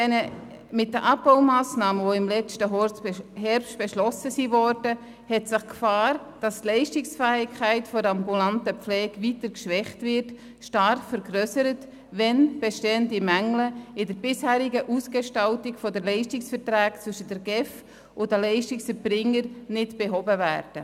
Mit den im letzten Herbst beschlossenen Abbaumassnahmen hat sich die Gefahr stark vergrössert, dass die Leistungsfähigkeit der ambulanten Pflege weiter geschwächt wird, wenn bestehende Mängel in der bisherigen Ausgestaltung der Leistungsverträge zwischen der GEF und den Leistungserbringern nicht behoben werden.